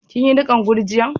Kin yi nikan gurjiya'n?